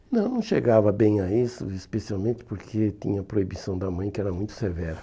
Não, não chegava bem a isso, especialmente porque tinha a proibição da mãe, que era muito severa.